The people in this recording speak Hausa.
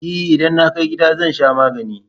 E, idan na kai gida zan sha magani.